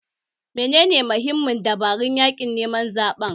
Menene mahimman dabarun yaƙin neman zaɓe?